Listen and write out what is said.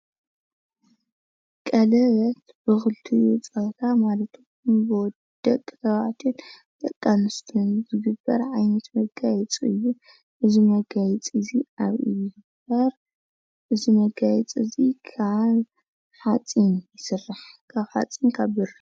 ቀለበት ብክልቲኡ ፆታ ማለት እውን ደቂ ተባዕትዮን ደቂ ኣንስትዮን ዝግበር ዓይነት መጋየፂ እዩ። እዚ መጋየፂ እዚ ከዓ ካብ ሓፂን ካብ ብሪ ይስራሕ።